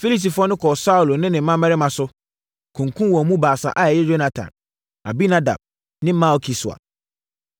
Filistifoɔ no kɔɔ Saulo ne ne mmammarima so, kunkumm wɔn mu baasa a ɛyɛ Yonatan, Abinadab ne Malki-Sua.